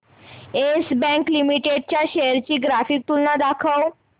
yes Bank Limited च्या shares ची graphical तुलना दाखव